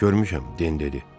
Görmüşəm, Den dedi.